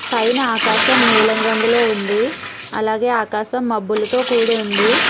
పైన ఆకశాం నీలన రంగులో ఉంది అలాగే ఆకశం మబ్బులతో కూడి ఉంది.